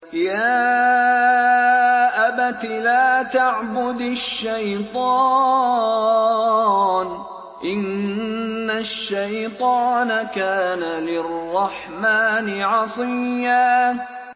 يَا أَبَتِ لَا تَعْبُدِ الشَّيْطَانَ ۖ إِنَّ الشَّيْطَانَ كَانَ لِلرَّحْمَٰنِ عَصِيًّا